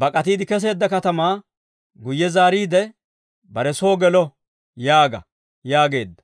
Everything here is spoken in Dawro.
bak'atiide kesseedda katamaa guyye zaariidde, bare soo gelo› yaaga» yaageedda.